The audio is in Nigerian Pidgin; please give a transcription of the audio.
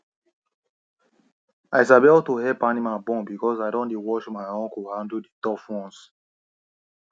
i sabi how to help animal born because i don dey watch my uncle handle the tough ones